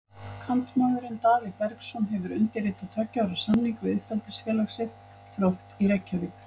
Kantmaðurinn Daði Bergsson hefur undirritað tveggja ára samning við uppeldisfélag sitt, Þrótt í Reykjavík.